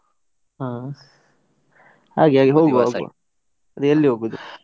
ಹಾ, ಹಾಗೆ ಹಾಗೆ ಹೋಗುವ ಅದೇ ಎಲ್ಲಿ ಹೋಗುದು?